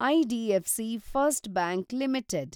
IDFC first bank limited